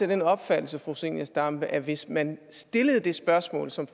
den opfattelse fru zenia stampe at hvis man stillede det spørgsmål som